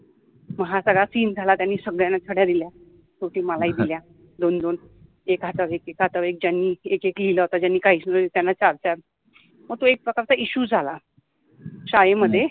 मग ह सगळा सिन झाला त्यानि सगळ्याना छळ्या दिल्या मलाहि दिल्या दोन दोन एक हातावर एक एका हातवर एक ज्यानि एक एक लिहिला होता ज्यानि काहिच नवत लिहिल त्यानि चार चार मग ति एक प्रकारचा इश्यु झाला शाळेमधे